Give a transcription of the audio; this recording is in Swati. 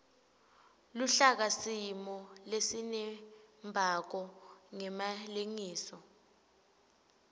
luhlakasimo lesinembako ngemalengiso